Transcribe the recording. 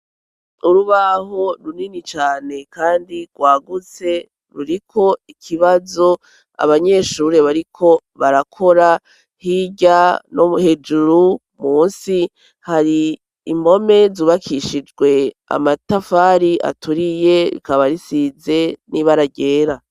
Urubaho runini cane kandi rwagutse ruriko ikibazo abanyeshure bariko barakora hirya no hejuru munsi hari impome zubakishijwe amatafari aturiye bikaba risize n'ibara ryera.